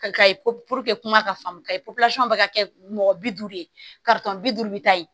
kuma ka faamu ka ɲɛ bɛ ka kɛ mɔgɔ bi duuru de ye bi duuru bɛ taa ye